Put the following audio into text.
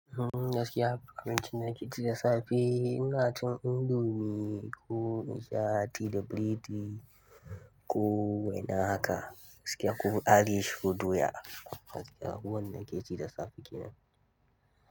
Uhm, gaskiya akwai yawanci lokaci da safe. Ina cin indomie ko in sha tea da biredi ko waina haka. Gaskiya ko Irish ko doya. Gaskiya abubuwan da nakeci da safe kenan.